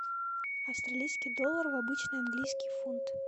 австралийский доллар в обычный английский фунт